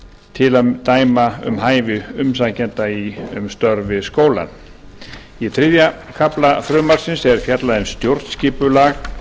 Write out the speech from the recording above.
til að dæma um hæfi umsækjenda um störf við skólann í þriðja kafla frumvarpsins er fjallað um stjórnskipulag